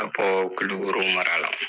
Ka bɔ kulukoro mara la